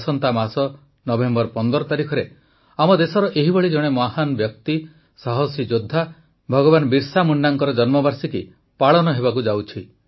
ଆସନ୍ତା ମାସ ନଭେମ୍ବର ୧୫ ତାରିଖରେ ଆମ ଦେଶର ଏହିଭଳି ଜଣେ ମହାନ ବ୍ୟକ୍ତି ସାହସୀ ଯୋଦ୍ଧା ଭଗବାନ ବିର୍ସା ମୁଣ୍ଡାଙ୍କର ଜନ୍ମବାର୍ଷିକୀ ପାଳନ ହେବାକୁ ଯାଉଛି